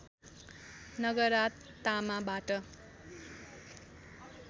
नगरा तामाबाट